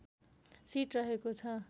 seat रहेको छ